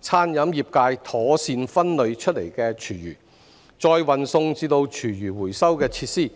餐飲業界妥善分類出來的廚餘，再運送至廚餘回收設施。